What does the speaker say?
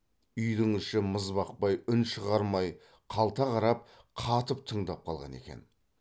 үйдің іші мызбақпай үн шығармай қалта қарап қатып тыңдап қалған екен